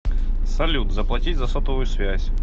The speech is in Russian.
салют заплатить за сотовую связь